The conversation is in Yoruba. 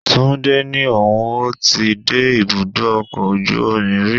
Túndé ní òun ó ti dé ibùdó ọkọ̀ ojú omi rí.